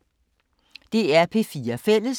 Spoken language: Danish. DR P4 Fælles